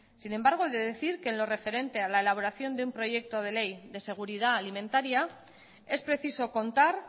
sin embargo he de decir que en lo referente a la elaboración de un proyecto de ley de seguridad alimentaria es preciso contar